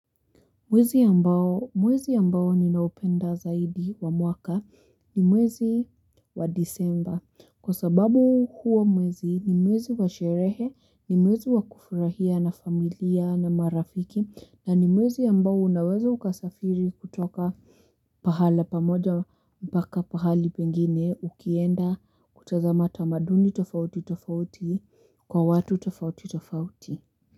Mwezi ambao ninaupenda zaidi wa mwaka ni mwezi wa Disemba kwa sababu huo mwezi ni mwezi wa sherehe, ni mwezi wa kufurahia na familia na marafiki na ni mwezi ambao unaweza ukasafiri kutoka pahala pamoja mpaka pahali pengine ukienda kutazama tamaduni tofauti tofauti kwa watu tofauti tofauti.